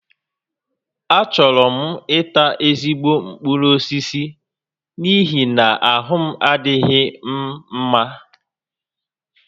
Achọrọ m ita ezigbo mkpụrụ osisi n'ihi na ahụ adịghị m mma